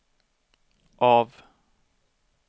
av